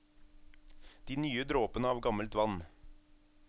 De nye dråpene av gammelt vann.